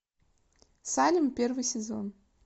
салем первый сезон